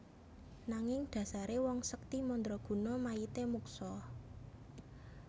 Nanging dhasare wong sekti mandraguna mayite muksa